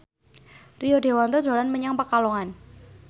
Rio Dewanto dolan menyang Pekalongan